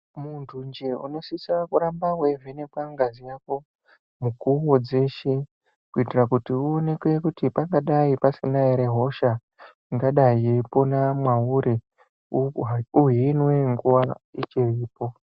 Muntu nje unosisa kuramba weivhenekwa ngazi yako mukuwo dzeshe. Kuitira kuti uonekwe kuti pangadayi pasina ere hosha ingadayi yeipona mwauri uhinwe nguwa ichiripo.